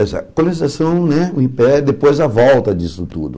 Essa colonização né, o Impé, depois a volta disso tudo.